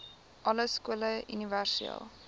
alle skole universele